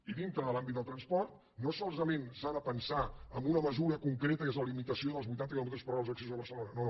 i dintre de l’àmbit del transport no solament s’ha de pensar en una mesura concreta que és la limitació dels vuitanta quilòmetres per hora als accessos a barcelona no no